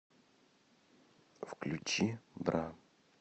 включи бра